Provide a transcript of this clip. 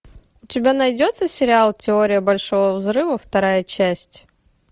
у тебя найдется сериал теория большого взрыва вторая часть